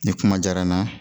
Ni kuma diyara n na